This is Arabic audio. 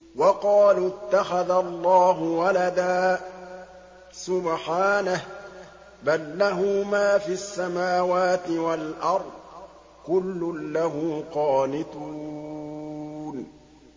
وَقَالُوا اتَّخَذَ اللَّهُ وَلَدًا ۗ سُبْحَانَهُ ۖ بَل لَّهُ مَا فِي السَّمَاوَاتِ وَالْأَرْضِ ۖ كُلٌّ لَّهُ قَانِتُونَ